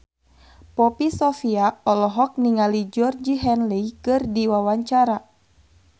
Poppy Sovia olohok ningali Georgie Henley keur diwawancara